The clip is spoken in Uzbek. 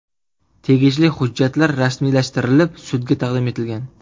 Tegishli hujjatlar rasmiylashtirilib, sudga taqdim etilgan.